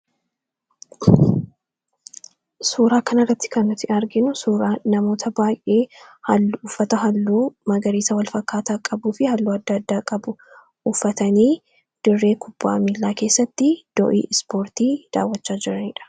suuraa kana irratti kannuti arginu suuraa namoota baay'ee hallu uffata halluu magariisa walfakkaataa qabuu fi halluu adda addaa qabu uffatanii dirree kubba'a miilaa keessatti doo'ii ispoortii daawachaa jiraniidha